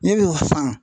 Ne b'o faamu